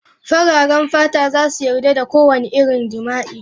Fararen fata za su yarda da kowane irin jima'i.